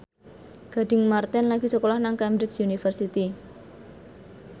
Gading Marten lagi sekolah nang Cambridge University